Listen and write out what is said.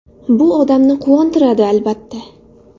Bu odamni quvontiradi, albatta.